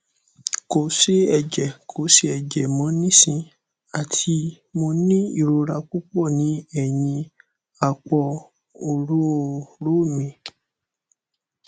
ko se eje ko se eje mo nisin ati mo ni irora pupo ni eyin apo orooro mi